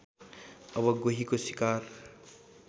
अब गोहीको शिकार